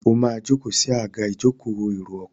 o ma joko sí Àga ìjókòó èrò ọkọ̀.